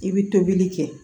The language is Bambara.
I bɛ tobili kɛ